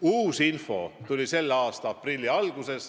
Uus info tuli selle aasta aprilli alguses.